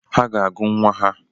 Ha ga-agụ nwa ha